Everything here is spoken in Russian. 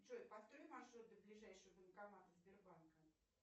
джой построй маршрут до ближайшего банкомата сбербанка